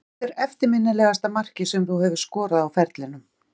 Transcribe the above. Hvert er eftirminnilegasta markið sem þú hefur skorað á ferlinum?